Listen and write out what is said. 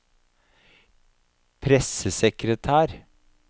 pressesekretær